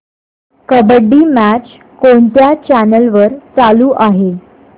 kabaddi match कोणत्या channel वर चालू आहे